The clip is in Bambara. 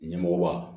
Ɲɛmɔgɔba